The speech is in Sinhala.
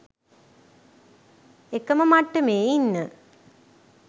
එකම මට්ටමේ ඉන්න